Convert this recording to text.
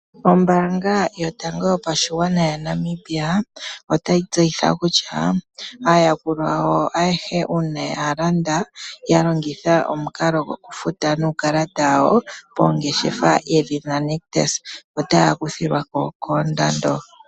Ombaanga yotango yopashigwana yaNamibia otayi tseyitha kutya aayakulwa ayehe uuna yalanda yalongitha gokufuta nuukalata wawo oongeshefa yedhina Nictus otaya kuthilwako koondando